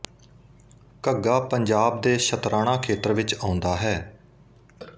ਘੱਗਾ ਪੰਜਾਬ ਦੇ ਸ਼ਤਰਾਣਾ ਖੇਤਰ ਵਿੱਚ ਆਉਂਦਾ ਹੈ